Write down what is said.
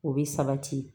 O bɛ sabati